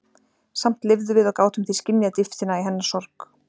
Samt lifðum við og gátum því skynjað dýptina í hennar sorg.